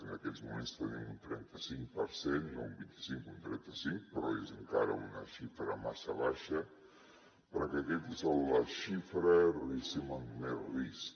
en aquests moments tenim un trenta cinc per cent no un vint i cinc un trenta cinc però és encara una xifra massa baixa perquè aquesta és la xifra diguéssim amb més risc